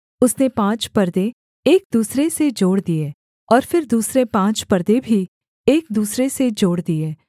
उसने पाँच परदे एक दूसरे से जोड़ दिए और फिर दूसरे पाँच परदे भी एक दूसरे से जोड़ दिए